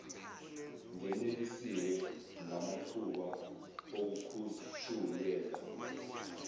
ngenelisiwe ngamathuba okukhushulelwa